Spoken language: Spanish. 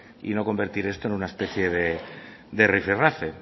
y no convertir esto es una especie de rifirrafe